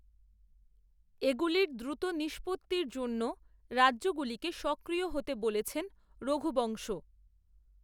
এগুলির দ্রুত নিষ্পত্তীর জন্যও রাজ্যগুলিকে, সক্রিয় হতে বলেছেন, রঘুবংশ